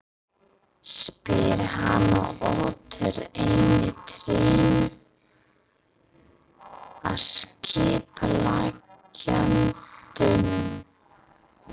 spyr hann og otar einu trénu að skipuleggjandanum.